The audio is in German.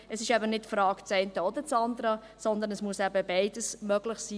Es ist eben nicht eine Frage «das eine oder das andere», sondern es muss eben beides möglich sein.